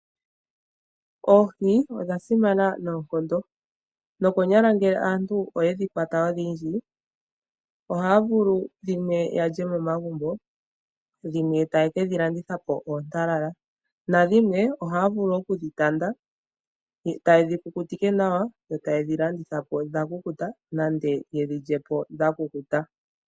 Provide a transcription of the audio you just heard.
Oohi odha simana noonkondo, nokonyala ngele aantu oyedhi kwata odhindji ohaa vulu dhimwe ya lye momagumbo, dhimwe taye kedhi landitha po oontalala, na dhimwe ohaya vulu okudhi tanda e taye dhi kukutike nawa. Yo taye dhi landitha po dha kukuta nenge ye dhi lye po dha kukuta.